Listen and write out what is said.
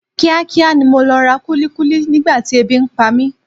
Kíá kíá ni mo lọ ra kúlíkúlí nígbà tí ebi ń pa mi.